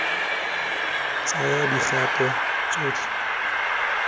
tsaya dikgato tsotlhe tse di